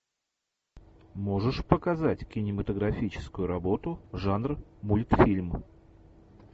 можешь показать кинематографическую работу жанр мультфильм